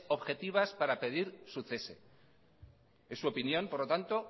objetivas para pedir su cese es su opinión por lo tanto